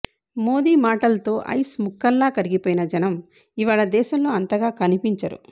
మోదీ మాటల్తో ఐస్ ముక్కల్లా కరిగిపోయిన జనం ఇవాళ దేశంలో అంతగా కనిపించరు